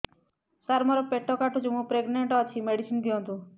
ସାର ମୋର ପେଟ କାଟୁଚି ମୁ ପ୍ରେଗନାଂଟ ଅଛି ମେଡିସିନ ଦିଅନ୍ତୁ